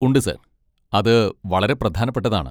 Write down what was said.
ഉണ്ട്, സർ. അത് വളരെ പ്രധാനപ്പെട്ടതാണ്.